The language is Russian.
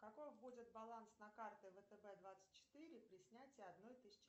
каков будет баланс на карте втб двадцать четыре при снятии одной тысячи